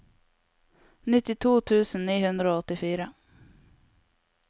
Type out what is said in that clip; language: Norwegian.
nittito tusen ni hundre og åttifire